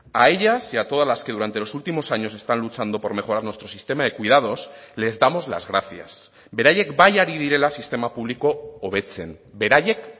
a ellas y a todas las que durante los últimos años están luchando por mejorar nuestro sistema de cuidados les damos las gracias beraiek bai ari direla sistema publiko hobetzen beraiek